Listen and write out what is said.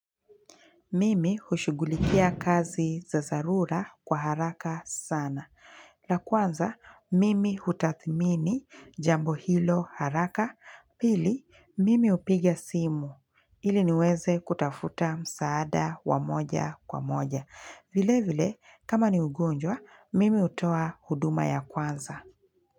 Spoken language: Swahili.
Mimi hushughulikia kazi za zarura kwa haraka sana. La kwanza, mimi hutathmini jambo hilo haraka. Pili, mimi hupiga simu. Ili niweze kutafuta msaada wa moja kwa moja. Vile vile, kama ni ugonjwa, mimi utoa huduma ya kwanza.